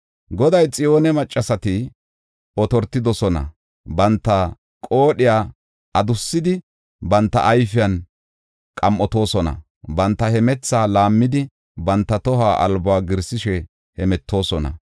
Goday, “Xiyoone maccasati otortidosona; banta qoodhiya adussidi, banta ayfiyan qam7otoosona; banta hemethaa laammidi, banta toho albuwa giirsishe hemetoosona.